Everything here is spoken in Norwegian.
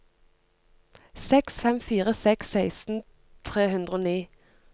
seks fem fire seks seksten tre hundre og ni